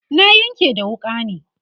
na Yanƙe da wuƙa ne